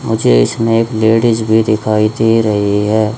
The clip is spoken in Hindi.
मुझे इसमें एक लेडिस भी दिखाई दे रही है।